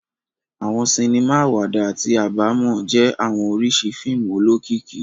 Awọn sinima awada ati abamọ jẹ awọn oriṣi fiimu olokiki